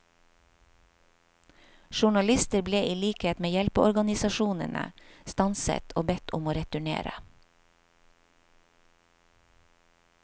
Journalister ble i likhet med hjelpeorganisasjonene stanset og bedt om å returnere.